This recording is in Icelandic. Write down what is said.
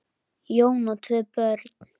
Jón á tvö börn.